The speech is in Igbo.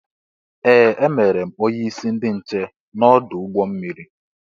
Ee! E mere m onyeisi ndị nche n'ọdụ ụgbọ mmiri.